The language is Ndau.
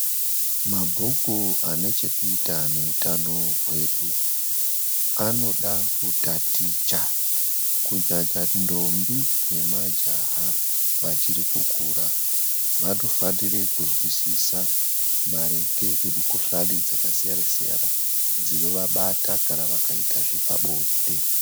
Mabhuku ane chekuita nehutano hwedu anoda kutaticha. Kunyanya ndombi nemajaha vachiri kukura, vanofanire kuzwisisa maringe nemukuhlani dzakasiyana siyana dzinovabata kana vakaita zvepabonde.